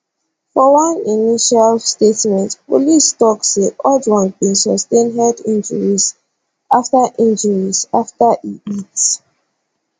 for one initial statement police tok say ojwang bin sustain head injuries afta injuries afta e hit